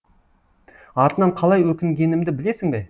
артынан қалай өкінгенімді білесің бе